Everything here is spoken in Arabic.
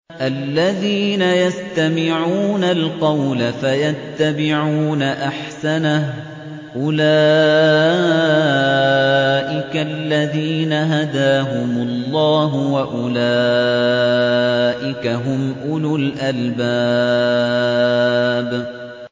الَّذِينَ يَسْتَمِعُونَ الْقَوْلَ فَيَتَّبِعُونَ أَحْسَنَهُ ۚ أُولَٰئِكَ الَّذِينَ هَدَاهُمُ اللَّهُ ۖ وَأُولَٰئِكَ هُمْ أُولُو الْأَلْبَابِ